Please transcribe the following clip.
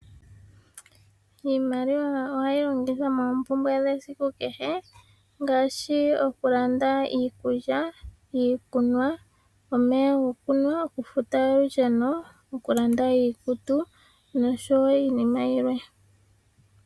Iimaliwa ohayi longithwa moompumbwe dhesiku kehe ngaashi okulanda iikulya, iikunwa, omeya gokunwa, okufuta olusheno, okulanda iikutu noshowo iinima yilwe.